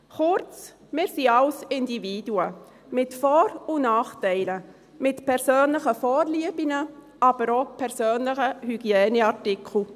Kurz: Wir sind alles Individuen, mit Vor- und Nachteilen, mit persönlichen Vorlieben, aber auch persönlichen Hygieneartikeln.